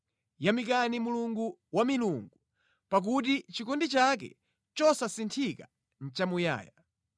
Yamikani Mulungu wa milungu. Pakuti chikondi chake chosasinthika nʼchamuyaya.